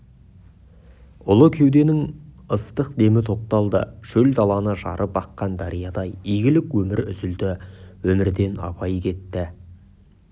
ұлы кеуденің ыстық демі тоқталды шөл даланы жарып аққан дариядай игілік өмір үзілді өмірден абай кетті